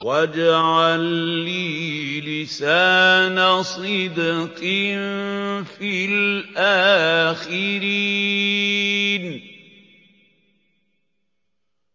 وَاجْعَل لِّي لِسَانَ صِدْقٍ فِي الْآخِرِينَ